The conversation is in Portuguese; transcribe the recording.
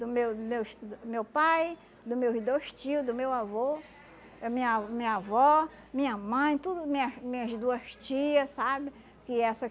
Do meu meus do meu pai, dos meus dois tio, do meu avô, minha minha avó, minha mãe, tudo minhas minhas duas tia, sabe? Que essa